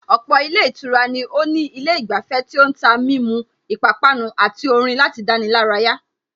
Ọ̀pọ̀ ilé ìtura ni ó ní ilé ìgbafẹ́ tí ó ń tà mímu, ipápánu àti orin láti dáni lárayà